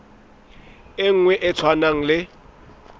e nngwe e tshwanang le